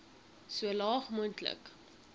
so laag moontlik